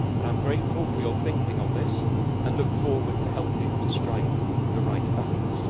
I am grateful for your thinking on this and look forward to helping to strike the right balance.